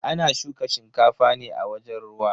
Ana shuka shinkafa ne a wajen ruwa.